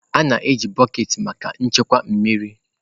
A na-eji bọket maka nchekwa mmiri.